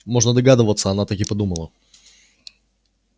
можно догадываться она так и подумала